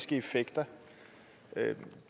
det er cirka